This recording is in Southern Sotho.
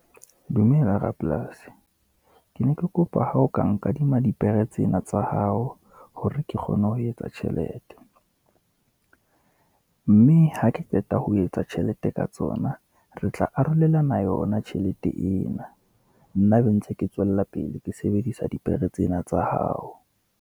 Dumela rapolasi, ke ne ke kopa ho o ka nkadima dipere tsena tsa hao, hore ke kgone ho etsa tjhelete. Mme ha ke qeta ho etsa tjhelete ka tsona, re tla arolelana yona tjhelete ena, nna be ntse ke tswella pele ke sebedisa dipere tsena tsa hao.